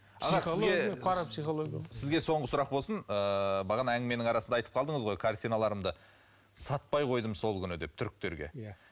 аға сізге соңғы сұрақ болсын ыыы бағана әңгіменің арасында айтып қалдыңыз ғой картиналарымды сатпай қойдым сол күні деп түріктерге иә